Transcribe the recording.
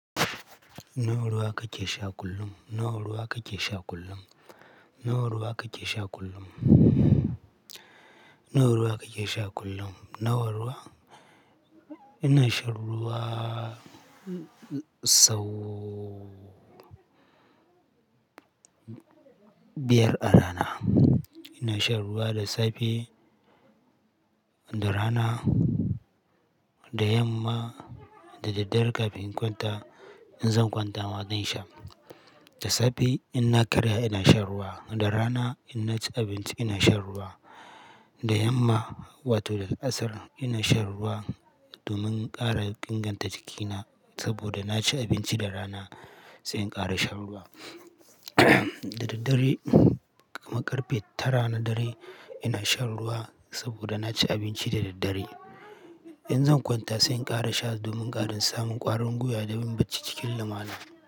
Nawa ruwa kake sha kullum? Nawa ruwa kake sha kullum? Nawa ruwa kake sha kullum? Nawa ruwa kake sha kullum? Nawa ruwa? Ina shan ruwa sau biyar a rana. Ina shan ruwa da safe, da rana, da yamma, da daddare kafin in kwanta, in zan kwanta ma zan sha. Da safe in na karya ina shan ruwa, da rana in na ci abinci ina shan ruwa, da yamma wato da asar ina shan ruwa domin ƙara inganta jikina saboda na ci abinci da rana sai in ƙara shan ruwa. Da daddare, kamar karfe tara na dare ina shan ruwa saboda na ci abinci da daddare. In zan kwanta sai in ƙara sha domin ƙarin samun ƙwarin gwiwa da yin ɓacci cikin lumana.